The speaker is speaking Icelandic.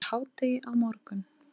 Fyrir hádegi á morgun.